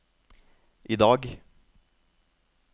idag